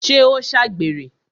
ṣé ó ṣàgbèrè?